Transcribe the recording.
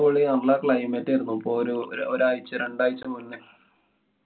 പൊളി നല്ല climate ആയിരുന്നു. ഇപ്പൊരു ഒരാഴ്ച്ച രണ്ടാഴ്ച മുന്നേ.